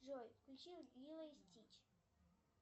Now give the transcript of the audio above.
джой включи лило и стич